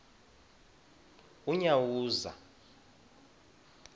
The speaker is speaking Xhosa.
unyawuza